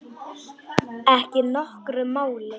Ekki nokkru máli.